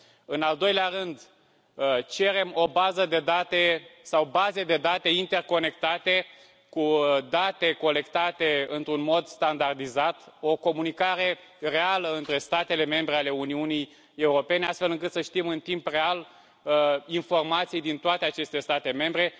În al doilea rând, cerem o bază de date sau baze de date interconectate cu date colectate într un mod standardizat, o comunicare reală între statele membre ale Uniunii Europene, astfel încât să știm în timp real informații din toate aceste state membre.